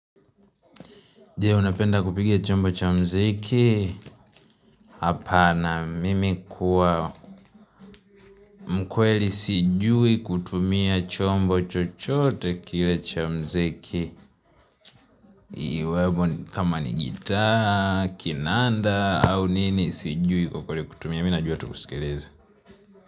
Je, unapenda kupiga chombo cha mziki? Hapana, mimi kuwa mkweli sijui kutumia chombo chochote kile cha mziki. Iwemo kama ni gitaa, kinanda, au nini sijui kwa kweli kutumia. Mimi najua tu kusikiliza.